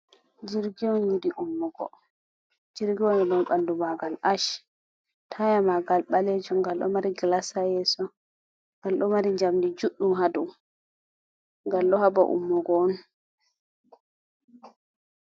Jirg'on yiɗi ummugo. Jirgiwal mai ɓandu Magal Ash, taya Magal ɓalejum ngal ɗo mari Glasa ha yeso ngal ɗo mari Njamdi judɗum ha dou, ngal ɗo haba Ummugo'on.